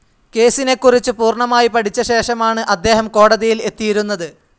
കേസിനെക്കുറിച്ച് പൂർണ്ണമായി പഠിച്ച ശേഷമാണ് അദ്ദേഹം കോടതിയിൽ എത്തിയിരുന്നത്.